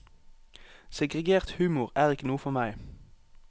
Segregert humor er ikke noe for meg.